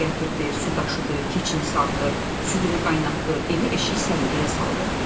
Odun gətirdi, su daşıdı, keçini sağdı, südünü qaynatdı, evi eşiyi səliqəyə saldı.